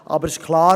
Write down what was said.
Aber es ist klar: